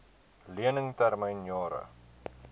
lening termyn jare